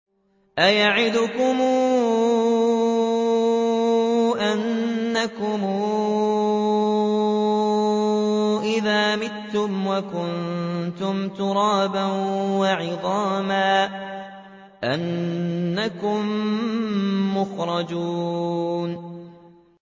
أَيَعِدُكُمْ أَنَّكُمْ إِذَا مِتُّمْ وَكُنتُمْ تُرَابًا وَعِظَامًا أَنَّكُم مُّخْرَجُونَ